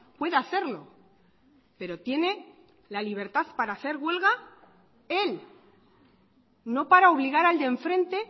pueda hacerlo pero tiene la libertad para hacer huelga él no para obligar al de enfrente